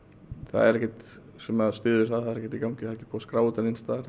er ekkert sem styður það það er ekkert í gangi það er ekki búið að skrá þetta neins staðar